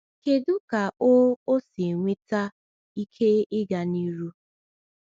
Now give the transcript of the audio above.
Kedu ka ọ ọ si enweta ike ịga n’ihu?